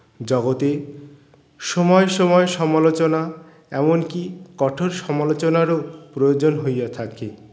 জগতে সময় সময় সমালোচনা এমনকি কঠোর সমালোচনার ও প্রয়োজন হইয়া থাকে